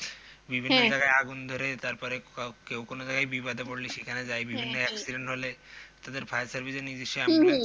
বিভিন্ন জায়গায় হম আগুন ধরে তারপরে কেউ কোনো জায়গায় বিপদে পড়লে সেখানে যাই বিভিন্ন accident হলে তাদের fire service এ নিজস্ব হম হম ambulance